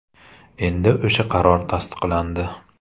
Endi o‘sha qaror tasdiqlandi.